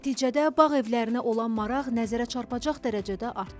Nəticədə bağ evlərinə olan maraq nəzərə çarpacaq dərəcədə artdı.